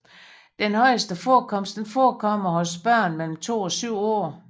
Den højeste forekomst forekommer hos børn mellem 2 og 7 år